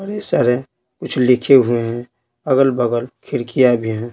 सारे कुछ लिखे हुए हैं अगल बगल खिड़कियां भी हैं।